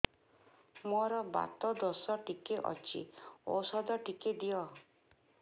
ମୋର୍ ବାତ ଦୋଷ ଟିକେ ଅଛି ଔଷଧ ଟିକେ ଦିଅ